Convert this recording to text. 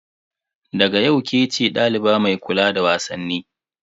Daga yau kece daliba mai kula da wasanni.